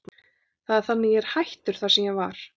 Það er þannig að ég er hættur þar sem ég var.